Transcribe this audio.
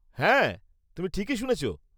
হ্যাঁ, তুমি ঠিকই শুনেছ।